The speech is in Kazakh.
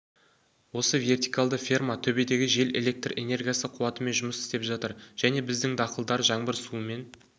осы вертикалды ферма төбедегі жел электр энергиясы қуатымен жұмыс істеп жатыр және біздің дақылдар жаңбыр суымен